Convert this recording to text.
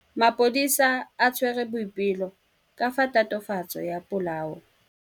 Maphodisa a tshwere Boipelo ka tatofatsô ya polaô.